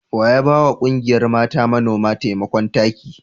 Wa ya ba wa ƙungiyar mata manoma taimakon taki?